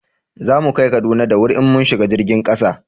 za mu kai Kaduna da wuri in mun shiga jirgin kasa